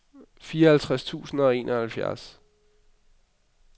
fireoghalvtreds tusind og enoghalvfjerds